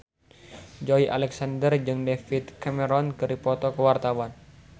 Joey Alexander jeung David Cameron keur dipoto ku wartawan